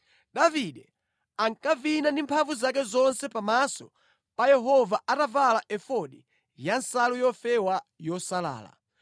Davide ankavina ndi mphamvu zake zonse pamaso pa Yehova atavala efodi ya nsalu yofewa yosalala,